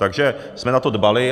Takže jsme na to dbali.